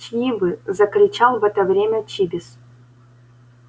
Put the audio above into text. чьи вы закричал в это время чибис